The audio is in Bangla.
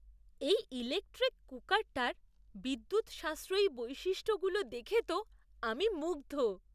এই ইলেক্ট্রিক কুকারটার বিদ্যুৎ সাশ্রয়ী বৈশিষ্ট্যগুলো দেখে তো আমি মুগ্ধ!